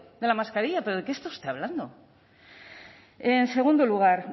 de la mascarilla pero de qué está usted hablando en segundo lugar